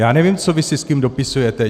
Já nevím, co vy si s kým dopisujete.